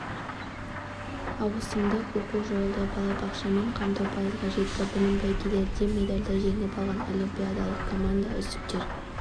ауысымдық оқу жойылды балабақшамен қамту пайызға жетті білім бәйгелерінде медальді жеңіп алған олимпиадалық команда үздіктер